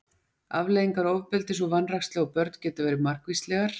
afleiðingar ofbeldis og vanrækslu á börn geta verið margvíslegar